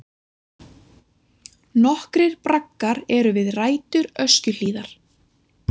Nokkrir braggar eru við rætur Öskjuhlíðar.